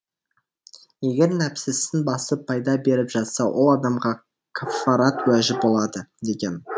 егер нәпсісін басып пайда беріп жатса ол адамға каффарат уәжіп болады деген